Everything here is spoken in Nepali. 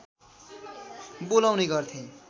बोलाउने गर्थे